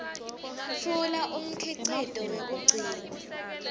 tfula umkhicito wekugcina